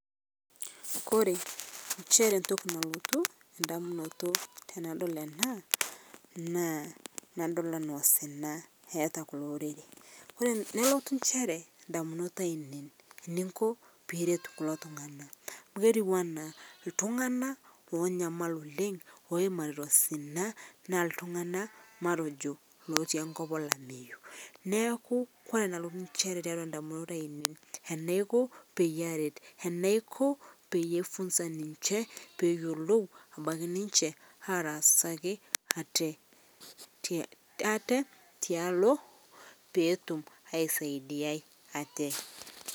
Kore inchere intoki nalotu indamunoto tenadol ena naa enadol anaa osina eeta kulo lorere. Kore nelotu inchere indamunot ainein eninko piiret kulo tungana. Amu ketiu anaa iltungana oonyamal oleng, oimarita osina naa iltungana matojo lotii enkop olameiyu. Neaku kore nalotu inchere teatua indamunot ainei, enaaku peyie aaret, enaiko peyie aifunsa ninche peeyiolou abaki ninche ataasaki ate tialo peetum aisaidiyai ate.